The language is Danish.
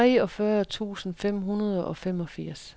treogfyrre tusind fem hundrede og femogfirs